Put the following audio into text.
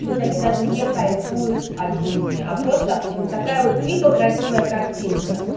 то есть они даже не кайфуют от жизни а просто такая вот типа красивая картинка